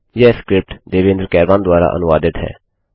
यह स्क्रिप्ट देवेन्द्र कैरवान द्वारा अनुवादित है